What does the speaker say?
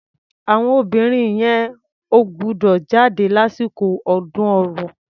Àwọn obìnrin yẹn ò gbúdọ̀ jáde lásìkò ọdún ọrò.